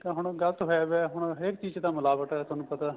ਹੁਣ ਗਲਤ ਫਾਇਦਾ ਹੁਣ ਹਰੇਕ ਚੀਜ਼ ਚ ਤਾਂ ਮਿਲਾਵਟ ਏ ਤੁਹਾਨੂੰ ਪਤਾ